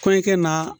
Kɔɲɔkɛ naa